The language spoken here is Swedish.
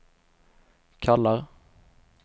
kallar